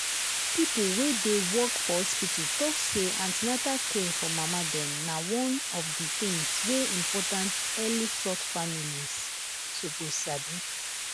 people wey dey work for hospital talk say an ten atal care for mama dem na one of the things wey important early sort families suppose sabi.